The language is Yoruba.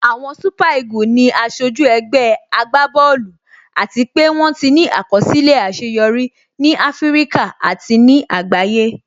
Àwọn super eagle ni aṣojú ẹgbẹ́ agbá bọ́ọ̀lù àti pé wón ti ní àkọsílẹ̀ àṣeyọrí ní Áfíríkà àti ní àgbáyé